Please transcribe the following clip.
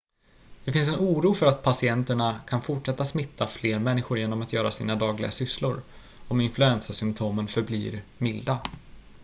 det finns en oro för att patienterna kan fortsätta smitta fler människor genom att göra sina dagliga sysslor om influensasymptomen förblir milda